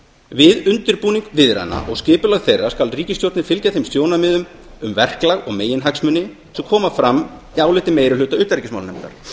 við undirbúning viðræðna og skipulag þeirra skal ríkisstjórnin fylgja þeim sjónarmiðum um verklag og meginhagsmuni sem koma fram í áliti meiri hluta utanríkismálanefndar þá